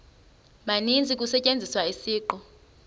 maninzi kusetyenziswa isiqu